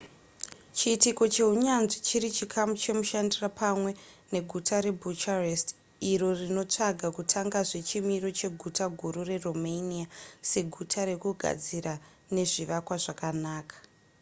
chiitiko chehunyanzvi chiri chikamu chemushandira pamwe neguta rebucharest iro rinotsvaga kutangazve chimiro cheguta guru reromania seguta rekugadzira nezvivakwa zvakanaka